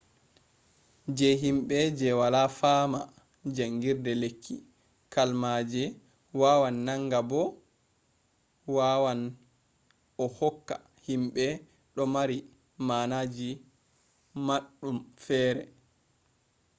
je himbe je wala fama jangirde lekki, kalmaje wawan nanga ba bo wawan a hokka himbe do mari manaji madum fere